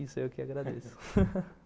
Isso, eu que agradeço.